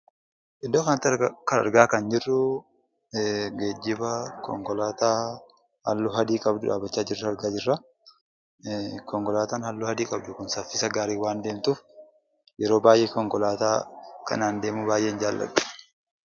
Iddoo kanatti argaa kan jirru, geejjiba konkolaataa halluu adii qabdu dhaabbachaa jirtu argaa jirra. Konkolaataan halluu adii qabdu kun saffisa gaariin waan deemtuuf, yeroo baayyee konkolaataa kanaan deemuu baayyeen jaaladha.